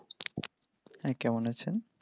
এই কেমন আছেন?